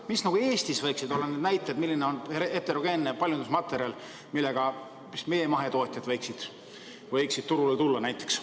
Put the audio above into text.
Mis võiksid Eestis olla need näited, milline on heterogeenne paljundusmaterjal, millega meie mahetootjad võiksid turule tulla?